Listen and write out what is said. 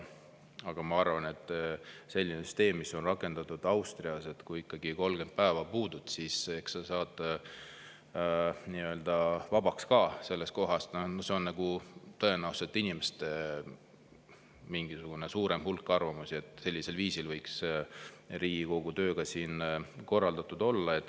Aga ma arvan, et selline süsteem, mis on rakendatud Austrias, et kui ikkagi 30 päeva puudud, siis saad vabaks ka sellest kohast, see on tõenäoliselt mingisuguse suurema hulga inimeste arvamus, et sellisel viisil võiks ka Riigikogu töö siin korraldatud olla.